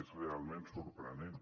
és realment sorprenent